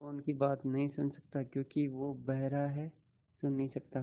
वो उनकी बात नहीं सुन सकता क्योंकि वो बेहरा है सुन नहीं सकता